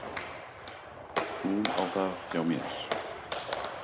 Hún á það hjá mér.